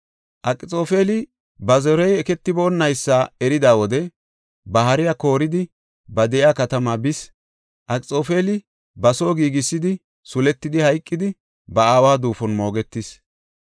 Akxoofeli ba zorey eketiboonaysa erida wode ba hariya kooridi ba de7iya katamaa bis. Akxoofeli ba soo giigisidi suletidi, hayqidi ba aawa duufon moogetis.